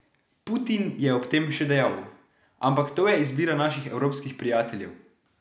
Putin je ob tem še dejal: "Ampak to je izbira naših evropskih prijateljev".